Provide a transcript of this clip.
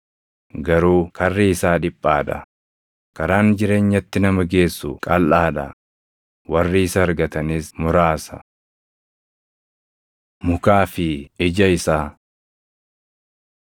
Garuu karri isaa dhiphaa dha; karaan jireenyatti nama geessu qalʼaa dha; warri isa argatanis muraasa. Mukaa fi Ija Isaa